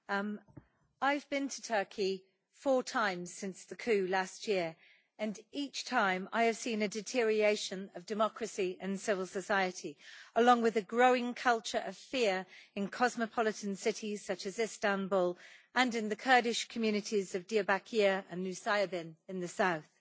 Madam President, I have been to Turkey four times since the coup last year and, each time, I have seen a deterioration of democracy and civil society, along with a growing culture of fear in cosmopolitan cities such as Istanbul and in the Kurdish communities of Diyarbakir and Nusaybin in the south.